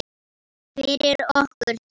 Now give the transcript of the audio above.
Fyrir okkur tvö.